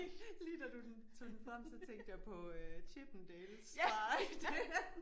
Lige da du den da du tog den frem der tænke jeg på Chippendales fra